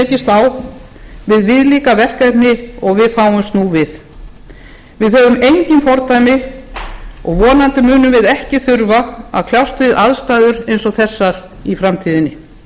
á við viðlíka verkefni og við fáumst nú við við höfum engin fordæmi og vonandi munum við ekki þurfa að kljást við aðstæður ein og þessar í framtíðinni undanfarna hundrað